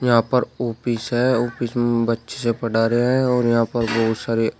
यहां पर ऑफिस है ऑफिस में बच्चे पढ़ा रहे है और यहां पर बहुत सारे--